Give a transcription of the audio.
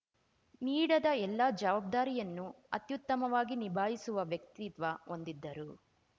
ನೀಡದ ಎಲ್ಲಾ ಜವಾಬ್ದಾರಿಯನ್ನು ಅತ್ಯುತ್ತಮವಾಗಿ ನಿಭಾಯಿಸುವ ವ್ಯಕ್ತಿತ್ವ ಹೊಂದಿದ್ದರು